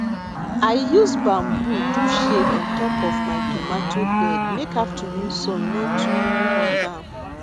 i use bamboo do shade on top my tomatoe bed make afternoon sun no too hot am